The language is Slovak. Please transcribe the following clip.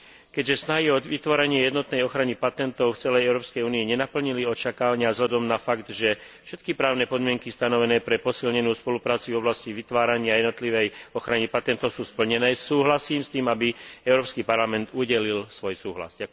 Keďže snahy o vytvorenie jednotnej ochrany patentov v celej Európskej únii nenaplnili očakávania vzhľadom na fakt, že všetky právne podmienky stanovené pre posilnenú spoluprácu v oblasti vytvárania jednotlivej ochrany patentov sú splnené, súhlasím s tým, aby Európsky parlament udelil svoj súhlas.